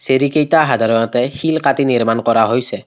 চিৰিকেইটা সাধাৰণতে শিল কাটি নিৰ্মাণ কৰা হৈছে।